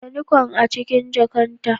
ajiye Nikon a cikin jakata.